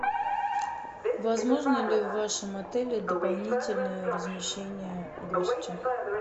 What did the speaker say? возможно ли в вашем отеле дополнительное размещение гостя